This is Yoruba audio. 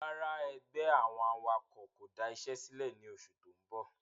Rárá ẹgbẹ́ àwọn awakọ̀ kò da isé sílẹ̀ mọ ni oṣù tó ń bọ̀